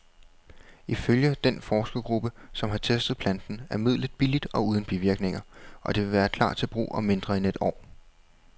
Ifølge den forskergruppe, som har testet planten, er midlet billigt og uden bivirkninger, og det vil klar til brug om mindre end et år.